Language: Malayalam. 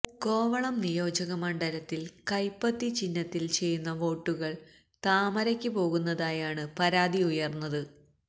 കോവളം നിയോജകമണ്ഡലത്തില് കൈപ്പത്തി ചിഹ്നത്തില് ചെയ്യുന്ന വോട്ടുകള് താമരയ്ക്ക് പോകുന്നതായാണ് പരാതി ഉയര്ന്നത്